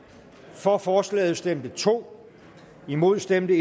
for forslaget stemte to imod stemte